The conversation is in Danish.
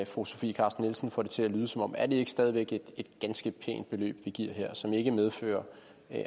fru sofie carsten nielsen får det til at lyde som er det ikke stadig væk et ganske pænt beløb vi giver her som ikke medfører